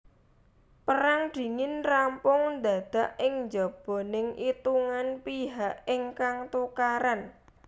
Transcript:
Pérang Dingin rampung ndadak ing njoboning itungan pihak ingkang tukaran